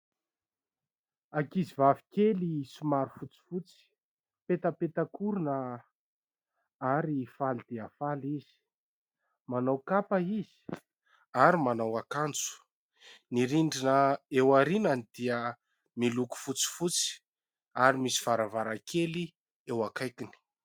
Ankizivavy kely somary fotsifotsy petapetak'orona ary faly dia faly izy, manao kapa izy ary manao akanjo. Ny rindrina eo aorianany dia miloko fotsifotsy ary misy varavarankely eo akaikiny.